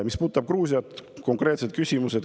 Mis puudutab Gruusiat, siis selle kohta olid konkreetsed küsimused.